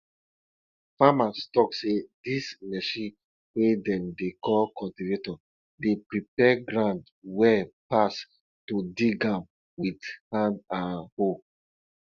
farmers talk say dis machine wey dem dey call cultivator dey prepare ground well pass to dig am with hand and hoe